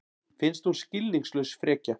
Finnst hún skilningslaus frekja.